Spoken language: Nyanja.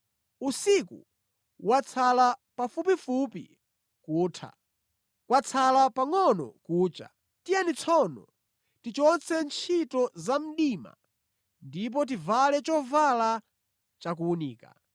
Usiku watsala pafupifupi kutha. Kwatsala pangʼono kucha. Tiyeni tsono tichotse ntchito zamdima ndipo tivale chovala chakuwunika.